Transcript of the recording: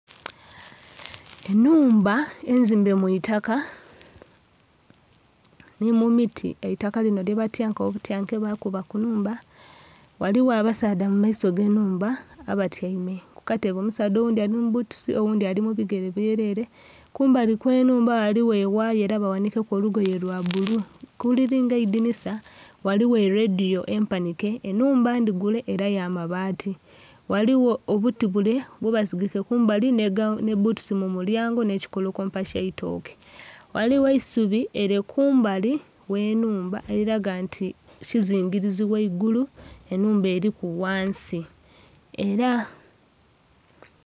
Enhumba enzimbe mu itaka ni mumiti, eitaka lino lyabatyanka obutyanke bakuba kunhumba ghaligho abasaadha mumaiso age enhumba abatyaime kukatebe, omusaadha oghundhi ali mubbutusi oghundhi ali mubigere byerere. Kumbali okw'enhumba ghaligho ewaaya era baghanike olugoye lya bbulu, kuliri nga eidhinisa ghaligho eridhiyo empanike. Enhumba endhigule era yamabaati ghaligho obuti bule bwebasigike kumbali n'ebbutusi mumulyango n'ekikolokompa eky'eitooke ghaligho eisubi liri kumbali gh'enhumba eri laga nti kizingirizi ghangulu enhumba eriku ghansi era..